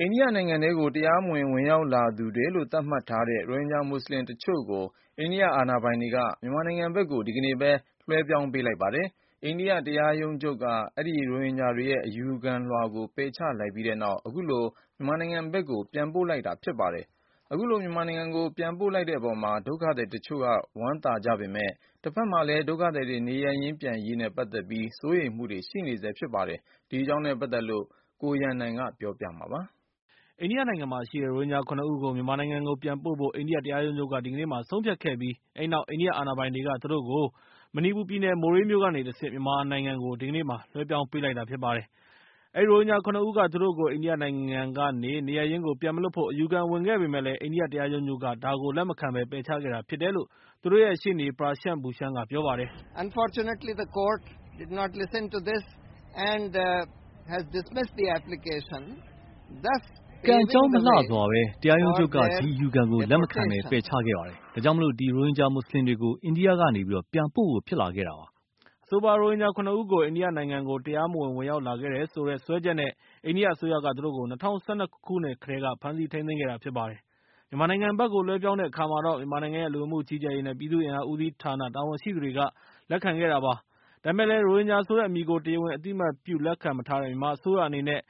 အိန္ဒိယနိုင်ငံထဲကို တရားမဝင် ဝင်ရောက်လာသူတွေလို့ သတ်မှတ်ထားတဲ့ ရိုဟင်ဂျာမွတ်စလင်တချို့ကို အိန္ဒိယအာဏာပိုင်တွေက မြန်မာနိုင်ငံဘက်ကို ဒီကနေ့ဘဲ လွှဲပြောင်းပေးလိုက်ပါတယ်။ အိန္ဒိယတရားရုံးချုပ်က အဲဒီရိုဟင်ဂျာတွေရဲ့ အယူခံကို ပယ်ချလိုက်ပြီးတဲ့နောက် အခုလို မြန်မာနိုင်ငံဘက်ကို ပြန်ပို့လိုက်တာဖြစ်ပါတယ်။ အခုလို မြန်မာနိုင်ငံကို ပြန်ပို့လိုက်တဲ့အပေါ်မှာ ဒုက္ခသည်တချို့က ဝမ်းသာနေကြပေမယ့်၊ တဘက်မှာလည်း ဒုက္ခသည်တွေ နေရပ်ပြန်ရေးနဲ့ ပတ်သက်ပြီး စိုးရိမ်မှုတွေလည်း ရှိနေဆဲဖြစ်ပါတယ်။ ဒီအကြောင်းနဲ့ ပတ်သက်ပြီး အပြည့်အစုံကို ကိုရန်နိုင်က ပြောပြပေးမှာဖြစ်ပါတယ်။ အိန္ဒိယနိုင်ငံမှာရှိတဲ့ ရိုဟင်ဂျာ ၇ ဦးကို မြန်မာနိုင်ငံကို ပြန်ပို့ဖို့ အိန္ဒိယတရားရုံးက ဒီကနေ့မှာ ဆုံးဖြတ်ခဲ့ပြီး၊ အဲဒီနောက် အိန္ဒိယအာဏာပိုင်တွေက သူတို့ကို အိန္ဒိယနိုင်ငံ မဏိပူရ်ပြည်နယ် မိုရေးမြို့ကနေ တဆင့် မြန်မာနိုင်ငံကို ဒီကနေ့မှာ လွှဲပြောင်းပေးလိုက်တာဖြစ်ပါတယ်။ အဲဒီရိုဟင်ဂျာ ၇ ဦးက သူတို့ကို အိန္ဒိယနိုင်ငံကနေ နေရပ်ရင်းကို ပြန်မလွှတ်ဖို့ အယူခံဝင်ခဲ့ပေမယ့် အိန္ဒိယတရားရုံးက ဒါကို လက်မခံဘဲ ပယ်ချခဲ့တာဖြစ်တယ်လို့ သူတို့ရဲ့ ရှေ့နေ Prashant Bhushan က ပြောပါတယ်။ "ကံမကောင်းအကြောင်းမလှစွာပဲ၊ တရားရုံးချုပ်က ဒီအယူခံကို လက်မခံဘဲ ပယ်ချခဲ့ပါတယ်။ ဒါကြောင့် ဒီရိုဟင်ဂျာမွတ်စလင်တွေကို အိန္ဒိယနိုင်ငံကနေ ပြန်ပို့ဖို့ ဖြစ်လာခဲ့တာဖြစ်ပါတယ်။" အဆိုပါ ရိုဟင်ဂျာ ၇ ဦးကို အိန္ဒိယနိုင်ငံကို တရားမဝင် ဝင်ရောက်လာခဲ့တယ်ဆိုတဲ့ စွဲချက်တွေနဲ့ အိန္ဒိယအစိုးရက သူတို့ကို ၂၀၁၂ ခုနှစ်ကတည်းက ဖမ်းဆီးထိန်းသိမ်းထားတာဖြစ်ပါတယ်။ မြန်မာနိုင်ငံဘက်ကို လွှဲပြောင်းတဲ့အခါမှာတော့ - မြန်မာနိုင်ငံရဲ့ လူဝင်မှုကြီးကြပ်ရေး နဲ့ ပြည်သူ့အင်အားဦးစီးဌာနာ တာဝန်ရှိသူတွေက လက်ခံခဲ့တာဖြစ်ပါတယ်။ ဒါပေမဲ့လည်း ရိုဟင်ဂျာဆိုတဲ့ အမည်ကို တရားဝင် အသိအမှတ်ပြု လက်ခံမထားတဲ့ မြန်မာအစိုးရ အနေနဲ့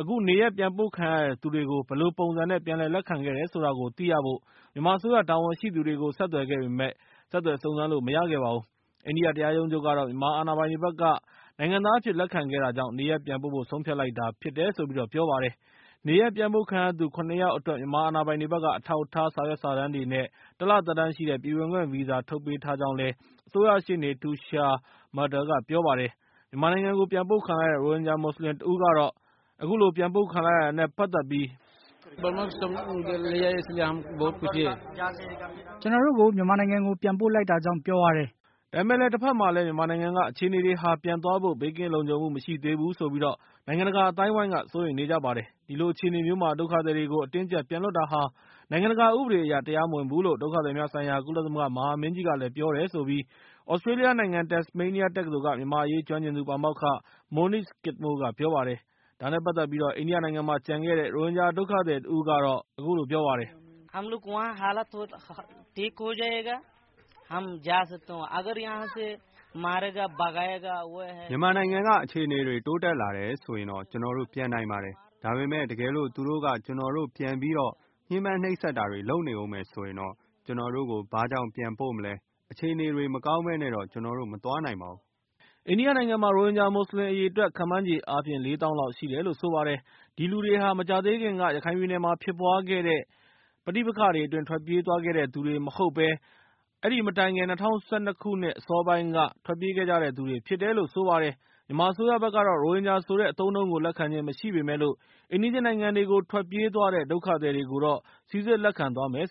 အခုနေရပ်ပြန်ပို့ခံရသူတွေကို ဘယ်လိုပုံစံနဲ့ ပြန်လည်လက်ခံခဲ့တာလည်း ဆိုတာကို သိရဖို့ မြန်မာအစိုးရတာဝန်ရှိသူတွေကို ဆက်သွယ်ခဲ့ပေမယ့် ဆက်သွယ်စုံစမ်းလို့ မရခဲ့ပါဘူး။ အိန္ဒိယတရားရုံးချုပ်ကတော့ မြန်မာအာဏာပိုင်တွေဘက်က နိုင်ငံသားအဖြစ် လက်ခံခဲ့တာကြောင့် နေရပ်ပြန်ပို့ဖို့ ဆုံးဖြတ်လိုက်တာ ဖြစ်ကြောင်း ပြောပါတယ်။ နေရပ်ပြန်ပို့ခံရသူ ၇ ယောက်အတွက် မြန်မာအာဏာပိုင်တွေဘက်က အထောက်အထား စာရွက်စာတမ်းတွေနဲ့ တလသက်တမ်းရှိတဲ့ ပြည်ဝင်ခွင့်ဗီဇာ ထုတ်ပေးထားကြောင်းလည်း အစိုးရရှေ့နေ Tushar Mehta ကပြောဆိုခဲ့တာပါ။ မြန်မာနိုင်ငံကို ပြန်ပို့ခံလိုက်ရတဲ့ ရိုဟင်ဂျာမွတ်စလင်တဦးကတော့ မြန်မာနိုင်ငံကိ ပြန်ပို့ခံလိုက်ရတာနဲ့ ပတ်သက်ပြီး အခုလို ပြောပါတယ်။ "ကျနော်တို့ကို မြန်မာနိုင်ငံကို ပြန်ပို့လိုက်တယ် ဒါကြောင့် ကျနော်တို့ ပျော်ပါတယ်။" ဒါပေမဲ့လည်း တဘက်မှာလည်း မြန်မာနိုင်ငံက အခြေအနေတွေဟာ ပြန်သွားဖို့ ဘေးကင်းလုံခြုံမှုမရှိသေးဘူးဆိုပြီး နိုင်ငံတကာအသိုင်းအဝိုင်း က စိုးရိမ်နေကြပါတယ်။ ဒီလိုအခြေအနေမျိုးမှာ ဒုက္ခသည်တွေကို အတင်းအကြပ်ပြန်လွှတ်တာဟာ နိုင်ငံတကာဥပဒေအရ တရားမဝင်ဘူးလို့ ဒုက္ခသည်များဆိုင်ရာ ကုလသမဂ္ဂမဟာမင်းကြီးကလည်း ပြောတယ်လို့ သြစတြေးလျနိုင်ငံ တက်စ်မေးနီးယားတက္ကသိုလ်က မြန်မာ့အရေး ကျွမ်းကျင်သူ ပါမောက္ခ Monique Skidmore က ပြောပါတယ်။ ဒါနဲ့ ပတ်သက်ပြီး အိန္ဒိယနိုင်ငံမှာ ကျန်ခဲ့တဲ့ ရိုဟင်ဂျာဒုက္ခသည်တဦးကလည်း အခုလို ပြောပါတယ်။ "မြန်မာနိုင်ငံကအခြေအနေတွေ တိုးတက်လာတယ်ဆိုရင်တော့ ကျနော်တို့ ပြန်နိုင်ပါတယ်။ ဒါပေမဲ့ တကယ်လို့ သူတို့က ကျနော်တို့ ပြန်ပြီးတော့ ညှင်းပန်းနှိပ်စက်တာတွေလုပ်နေအုံးမယ်ဆိုရင်၊ ကျနော်တို့ကို ဘာကြောင့် ပြန်ပို့မလဲ၊ အခြေအနေတွေတွေ မကောင်းဘဲနဲ့တော့ ကျနော်တို့ မသွားနိုင်ပါဘူး။" အိန္ဒိယနိုင်ငံမှာ ရိုဟင်ဂျာမွတ်စလင်အရေအတွက် ခန့်မှန်းခြေအားဖြင့် ၄ သောင်း လောက် ရှိတယ်လို့ဆိုပါတယ်။ ဒီလူတွေဟာ မြန်မာနိုင်ငံမှာ မကြာသေးခင်ကဖြစ်ပွားခဲ့တဲ့ ပဋိပက္ခတွေအတွင်း ထွက်ပြေးခဲ့ကြတဲ့သူတွေမဟုတ်ဘဲ ၊ အဲဒီမတိုင်ခင် ၂၀၁၂ ခုနှစ်လောက်က မြန်မာနိုင်ငံကနေ ထွက်ပြေးခဲ့ကြတယ်သူတွေဖြစ်တယ်လို့ ဆိုပါတယ်။ မြန်မာအစိုးရဘက်ကကတော့ ရိုဟင်ဂျာဆိုတဲ့ အသုံးအနှုန်းကိုလက်ခံခြင်းမရှိပေမယ့်လို့ ၊ အိမ်နီးချင်းနိုင်ငံတွေဘက်ကို ထွက်ပြေးသွားတဲ့ ဒုက္ခသည်တွေကိုတော့ စီစစ်လက်ခံသွားမယ်လို့